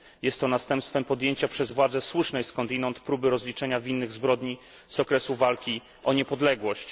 Jest to następstwem podjęcia przez władze słusznej skądinąd próby rozliczenia winnych zbrodni z okresu walki o niepodległość.